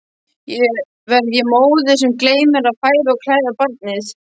Verð ég móðir sem gleymir að fæða og klæða barnið?